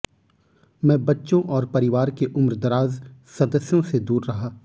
मैं बच्चों और परिवार के उम्रदराज सदस्यों से दूर रहा